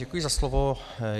Děkuji za slovo.